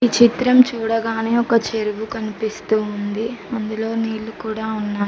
చిత్రం చూడగానే ఒక చెరువు కనిపిస్తుంది అందులో నీళ్లు కూడా ఉన్నాయి.